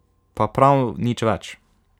Pa prav nič več.